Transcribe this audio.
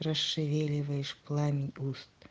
расшевеливаешь пламень уст